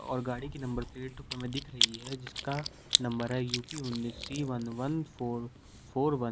और गाड़ी की नंबर प्लेट हमें दिख रही है जिसका नंबर है यू_पी उन्नीस C one one four four one.